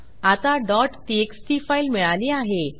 आता txt file मिळाली आहे